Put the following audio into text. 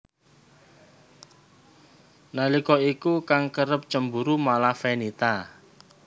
Nalika iku kang kerep cemburu malah Fenita